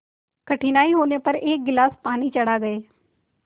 कठिनाई होने पर एक गिलास पानी चढ़ा गए